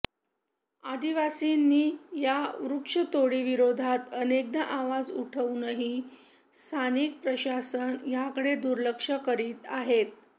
आदिवासींनी या वृक्षतोडीविरोधात अनेकदा आवाज उठवूनही स्थानिक प्रशासन त्याकडे दुर्लक्ष करीत आहे